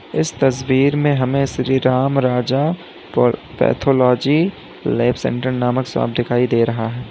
इस तस्वीर में हमें Shri Ram Raja pathology lab centre नमक शाप दिखाई दे रहा है।